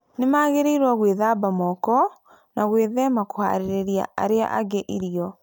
Nĩ magĩrĩirũo gwĩthamba moko na gwĩthema kũharĩria andũ arĩa angĩ irio.